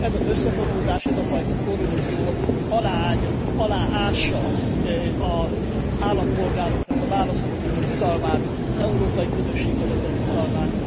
Ez az összefonódás, ez a fajta korrupció aláássa az állampolgároknak, a választóknak a bizalmát, az európai közösségbe vetett bizalmát.